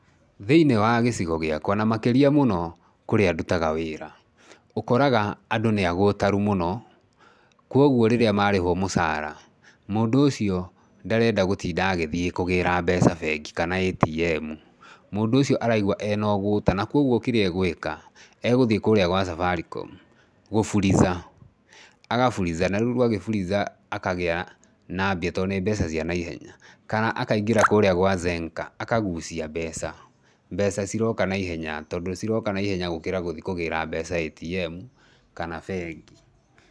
Thĩinĩ wa gĩcigo giakwa na makĩria mũno kũrĩa ndutaga wĩra ũkoraga andũ nĩ agũtaru mũno, kwoguo rĩrĩa ma rĩhwo mũcara, mũndũ ũcio ndarenda gũtinda agĩthiĩ kũgĩra mbeca bengi kana ATM. Mũndũ ũcio araigwa ena ũgũta na kwoguo kĩrĩa agũĩka, egũthiĩ kũrĩa gwa Safaricom gũfuliza. Agaburiza, na rĩu Agĩburiza, akagĩa na mbia tondũ nĩ mbeca cia naihenya kana akaingĩra kũrĩa kwa Zenka akagucia mbeca, mbeca ciroka naihenya, tondũ ciroka naihenya gũkĩra gũthi kũgĩra mbeca ATM kana bengi.